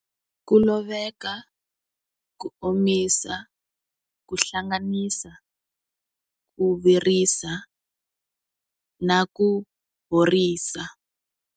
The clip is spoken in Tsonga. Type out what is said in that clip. Ku loveka ku omisa ku hlanganisa ku virisa na ku horisa.